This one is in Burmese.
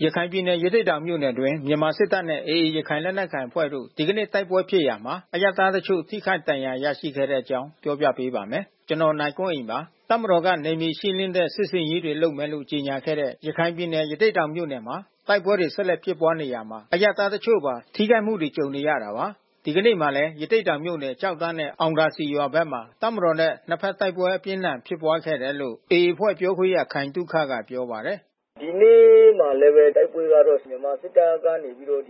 ရခိုင်ပြည်နယ် ရသေ့တောင်မြို့နယ်အတွင်း မြန်မာစစ်တပ်နဲ့ AA ရခိုင်လက်နက်ကိုင်အဖွဲ့တို့ ဒီကနေ့ တိုက်ပွဲဖြစ်ရာမှာ အရပ်သားတချို့ ထိခိုက်ဒဏ်ရာ ရရှိခဲ့တဲ့အကြောင်း ပြောပြပေးပါမယ်။ ဗွီအိုအေမြန်မာပိုင်းသတင်းထောက် ကိုနိုင်ကွန်းအိန်က သတင်းပေးပို့ထားပါတယ်။ တပ်မတော်က နယ်မြေရှင်းလင်းတဲ့ စစ်ဆင်ရေးတွေ လုပ်မယ်လို့ ကြေညာခဲ့တဲ့ ရခိုင်ပြည်နယ် ရသေ့တောင်မြို့နယ်မှာ တိုက်ပွဲတွေ ဆက်လက် ဖြစ်ပွားနေရာမှာ အရပ်သားတချို့ပါ ထိခိုက်မှုတွေ ကြုံနေရတာပါ။ ဒီကနေ့မှာလည်း ရသေ့တောင်မြို့နယ် ကျောက်တန်းနဲ့ အောင်သာစည်ရွာဘက်မှာ တပ်မတော်နဲ့ နှစ်ဘက်တိုက်ပွဲ အပြင်းအထန်ဖြစ်ခဲ့တယ်လို့ AA အဖွဲ့ပြောခွင့်ရ ခိုင်သုခက ပြောပါတယ်။ “ဒီနေ့မှာလည်းပဲ တိုက်ပွဲကတော့ မြန်မာစစ်တပ်ဘက်က ရသေ့တောင်အ